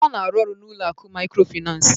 Ọ na-arụ ọru n'ụlọ akụ maykrofinans